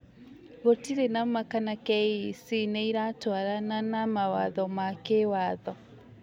Gũtirĩ na ma kana KEC nĩ ĩratwarana na mawatho ma kĩwatho